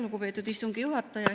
Lugupeetud istungi juhataja!